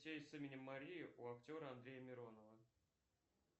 с именем мария у актера андрея миронова